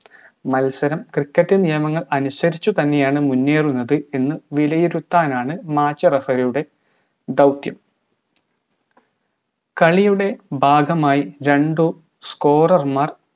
cricket നിയമങ്ങൾ അനുസരിച്ചുതന്നെയാണ് മുന്നേറുന്നത് എന്ന് വിലയിരുത്താനാണ് match referee യുടെ ദൗത്യം കളിയുടെ ഭാഗമായി രണ്ട് scorer മാർ